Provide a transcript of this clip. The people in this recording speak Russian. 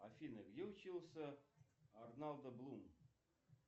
афина где учился орландо блум